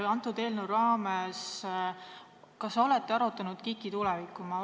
Kas te olete selle eelnõu raames arutanud KIK-i tulevikku?